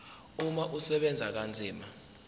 umama usebenza kanzima